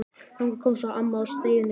Þangað kom svo amma að stríðinu loknu.